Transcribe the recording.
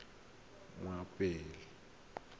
mmapule